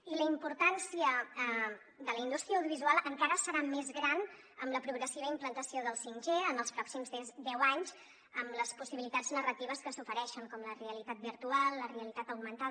i la importància de la in·dústria audiovisual encara serà més gran amb la progressiva implantació del 5g en els pròxims deu anys amb les possibilitats narratives que s’ofereixen com la realitat virtual la realitat augmentada